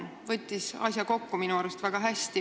Ta võttis asja kokku minu arust väga hästi.